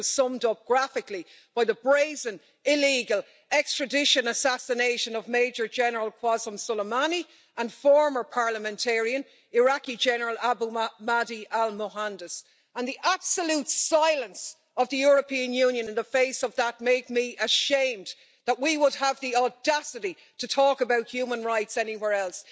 This was summed up graphically by the brazen illegal extradition assassination of Major General Qasem Soleimani and former parliamentarian Iraqi General Abu Omar Mahdi al-Mohandes, and the absolute silence of the European Union in the face of that made me ashamed that we would have the audacity to talk about human rights anywhere else.